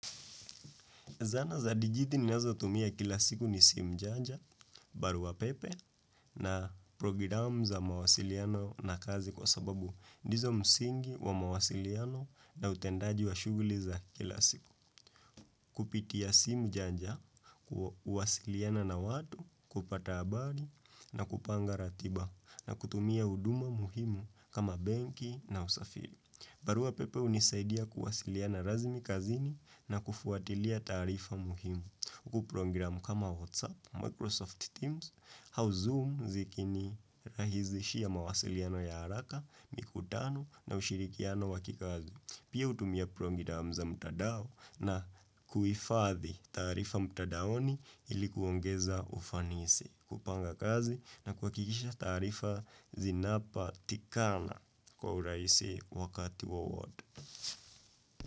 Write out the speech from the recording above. Zana za digiti ninazo tumia kila siku ni simu janja, barua pepe, na programu za mawasiliano na kazi kwa sababu ndizo msingi wa mawasiliano na utendaji wa shughuli za kila siku. Kupitia simu janja, huwasiliana na watu, kupata habari, na kupanga ratiba, na kutumia huduma muhimu kama benki na usafiri. Barua pepe hunisaidia kuwasiliana rasmi kazini na kufuatilia taarifa muhimu. Huku program kama WhatsApp, Microsoft Teams, HowZoom zikini rahisishia mawasiliano ya haraka, mikutano na ushirikiano wa kikazi. Pia hutumia programu za mtadao na kuhifadhi taarifa mtadaoni ili kuongeza ufanisi, kupanga kazi na kuhakikisha taarifa zinapatikana kwa urahisi wakati wowote.